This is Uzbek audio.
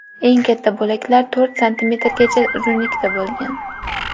Eng katta bo‘laklar to‘rt santimetrgacha uzunlikda bo‘lgan.